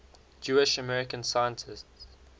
jewish american scientists